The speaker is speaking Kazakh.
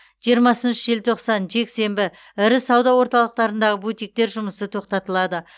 жиырмасыншы желтоқсан жексенбі ірі сауда орталықтарындағы бутиктер жұмысы тоқтатылады